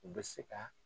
U bɛ se ka